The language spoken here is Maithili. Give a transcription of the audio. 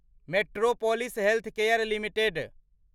metropolis Healthcare limited